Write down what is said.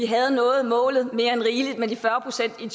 havde nået målet mere end rigeligt med de fyrre procent i